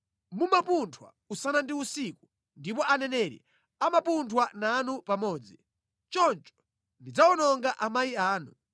Mumapunthwa usana ndi usiku ndipo aneneri amapunthwa nanu pamodzi. Choncho ndidzawononga amayi anu.